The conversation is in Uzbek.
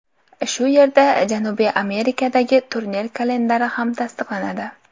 Shu yerda Janubiy Amerikadagi turnir kalendari ham tasdiqlanadi.